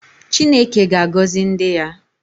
Chineke ga-agọzi ndị ya